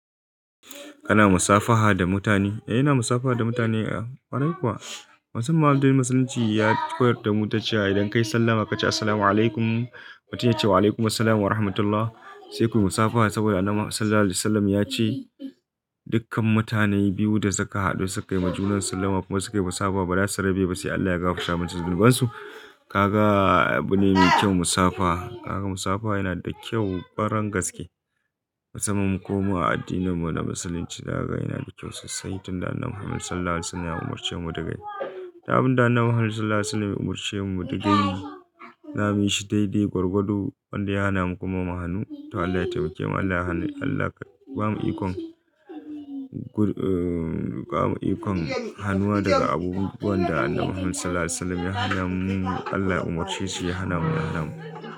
Kana musafaha da mutane? Eh ina musafaha da mutane. Kwarai kuwa wasu malamai na musulunci ya koyar da mu cewa idan ka yi sallama ka ce "Assalamu alaikum", mutum ya ce "Wa alaikum assalam wa rahmatullah", sai ku yi musafaha saboda annabi sallallahu alaihi wa sallam ya ce Dukkan mutane biyu da suka haɗu suka yi majnunansu sallama kuma suka yi musafaha ba za su rabu ba sai Allah ya gafara masa zunubansu. Kaga abu ne mai kyau musafaha. Kaga musafaha yana da kyau ƙwaran gaske. Musamman kuma a addininmu na musulunci. Naga yana da kyau sosai tun da annabi Muhammad sallallahu alaihi wa sallam ya umarce mu dagayi. Duk abinda annabi Muhammad sallallahu alaihi wa sallam ya umarce mu dagayi zamu yi shi daidai gwargwado wanda ya hana mu kuma muhanu. To Allah yataima kemu. Allah ya hana Allah ya bamu ikon, Bamu ikon hanuwa daga abubuwan da annabi Muhammad sallallahu alaihi wa sallam ya hana mu. Allah ya umarce shi ya hana mu da hana mu.